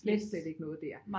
Slet slet ikke noget der